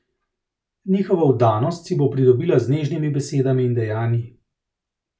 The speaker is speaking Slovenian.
Njihovo vdanost si bo pridobila z nežnimi besedami in dejanji.